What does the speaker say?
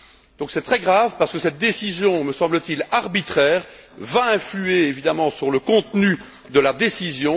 Donc, c'est très grave parce que cette décision, me semble t il arbitraire, va influer évidemment sur le contenu de la décision.